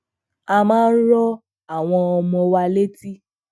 a máa ń rọ àwọn ọmọ wa láti